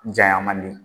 Jayan man di